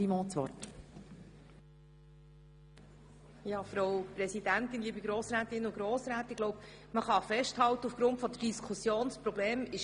Man kann aufgrund der Diskussion festhalten, dass das Problem erkannt ist.